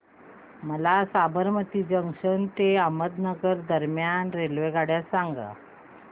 मला साबरमती जंक्शन ते अहमदाबाद दरम्यान रेल्वेगाड्या सांगा